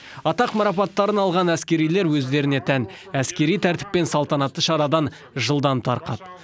атақ марапаттарын алған әскерилер өздеріне тән әскери тәртіппен салтанатты шарадан жылдам тарқады